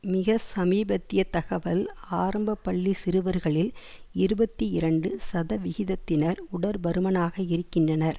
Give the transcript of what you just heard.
மிக சமீபத்திய தகவல் ஆரம்ப பள்ளி சிறுவர்களில் இருபத்தி இரண்டு சதவிகிதத்தினர் உடற்பருமனாக இருக்கின்றனர்